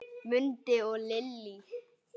Mundi og Lillý.